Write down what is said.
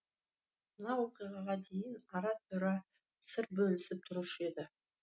мына оқиғаға дейін ара тұра сыр бөлісіп тұрушы еді